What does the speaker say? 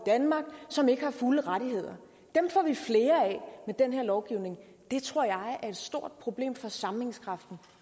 danmark som ikke har fulde rettigheder dem får vi flere af med den her lovgivning og det tror jeg er et stort problem for sammenhængskraften